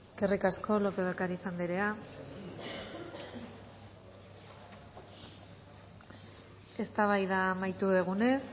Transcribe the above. eskerrik asko lópez de ocariz andrea eztabaida amaitu dugunez